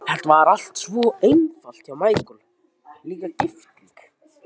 Það var allt svo einfalt hjá Michael, líka gifting.